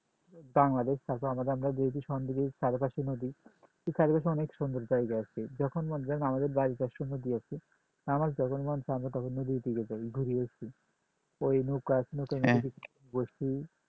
বাংলাদেশ তারপর আমাদের নদী কাজের অনেক সুন্দর জায়গা আর কি আমার যখন মন নদীর দিকে যাই ঘুরে আসি ওই নৌকায়